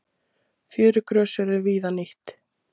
Fjörugrös eru víða nýtt.